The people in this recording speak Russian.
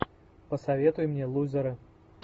посоветуй мне лузеры